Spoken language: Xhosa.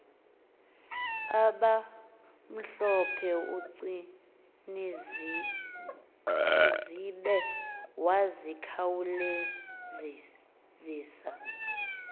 abamhlophe ugcinizibce wakhawulezisa